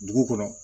Dugu kɔnɔ